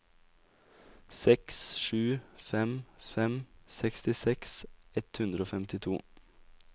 seks sju fem fem sekstiseks ett hundre og femtito